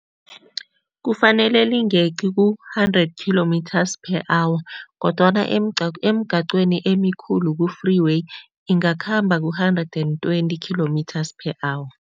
Kufanele lingeqi ku-hundred kilometres per hour kodwana emigaqweni emikhulu ku-free way ingakhamba ngo-hundred and twenty kilometres per hour.